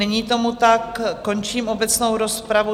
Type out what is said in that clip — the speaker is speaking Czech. Není tomu tak, končím obecnou rozpravu.